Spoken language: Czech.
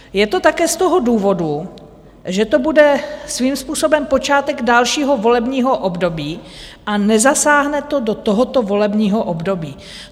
Je to také z toho důvodu, že to bude svým způsobem počátek dalšího volebního období a nezasáhne to do tohoto volebního období.